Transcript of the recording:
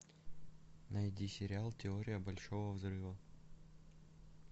найди сериал теория большого взрыва